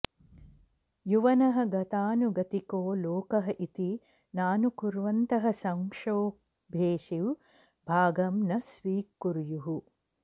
युवनः गतानुगतिको लोकः इति नानुकुर्वन्तः संक्षोभेषु भागं न स्वीकुर्युः